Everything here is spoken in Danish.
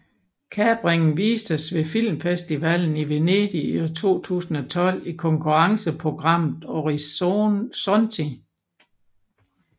Kapringen vistes ved Filmfestivalen i Venedig 2012 i konkurrenceprogrammet Orizzonti